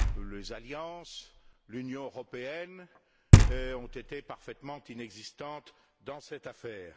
Les alliances, l'Union européenne ont été parfaitement inexistantes dans cette affaire.